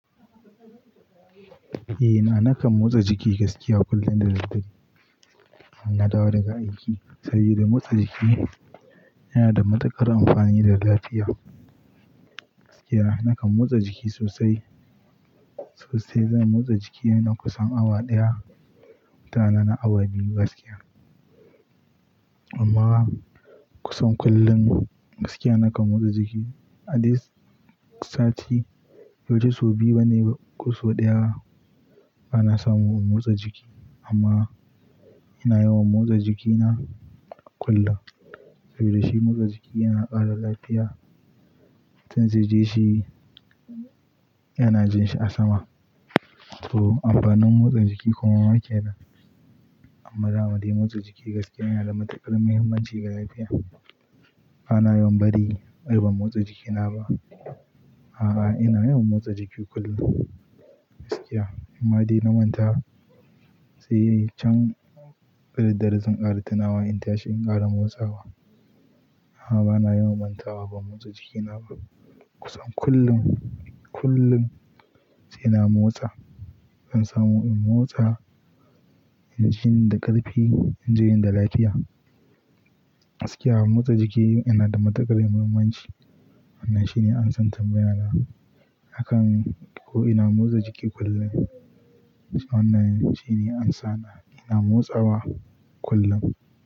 Eh na, nakan motsa jiki gaskiya kullum da daddare, in na dawo daga aiki. Saboda motsa jiki yana da matuƙar amfani da lafiya. Gaskiya nakan motsa jiki sosai, sosai zan motsa jiki na kusan awa ɗaya. Mutane na awa biyu gaskiya. Amma kusan kullum gaskiya nakan motsa jiki. A dai sati, locin sau biyu bane ba, kusan sau ɗaya bana samu in motsa jiki. Amma ina yawan motsa jikina kullum. Saboda shi motsa jiki yana ƙara lafiya. Tin jirgin shi yana jin shi a sama. To amfanin motsa jiki kuma waƙe ne. Amma da, da motsa jiki gaskiya yana da matuƙar muhimmanci ga lafiya. Bana yawan bari har ban motsa jikina ba. A'a, a'a ina yawan motsa jiki kullum gaskiya. Amadi na manta sai in can fitar da razon ƙara tunawa in tashi in ƙara motsawa. A'a, bana yawan mantawa ba motsa jikina ba. Kusan kullum, kullum sai na motsa. Zan samu in motsa, in ji ni da ƙarfi, in ji ni da lafiya. Gaskiya motsa jiki yana da matuƙar muhimmanci. Wannan shine ansan tambayona. Hakan ko ina motsa jiki kullum. Wannan shine ansana ina motsawa kullum.